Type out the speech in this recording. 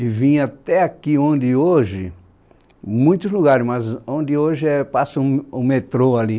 E vinha até aqui onde hoje, muitos lugares né, mas onde hoje passa o o metrô ali.